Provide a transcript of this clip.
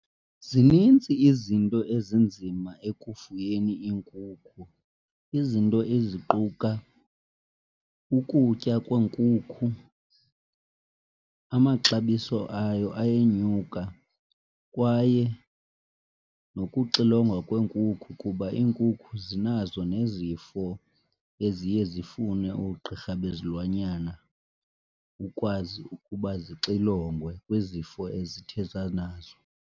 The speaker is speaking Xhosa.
Zinintsi izinto ezinzima ekufuyeni iinkukhu, izinto eziquka ukutya kweenkukhu, amaxabiso ayo ayenyuka kwaye nokuxilongwa kweenkukhu kuba iinkukhu zinazo nezifo eziye zifune oogqirha bezilwanyana ukwazi ukuba zixilongwe kwizifo ezithe zanazo.